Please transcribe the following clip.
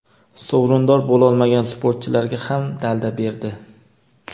sovrindor bo‘lolmagan sportchilarga ham dalda berdi.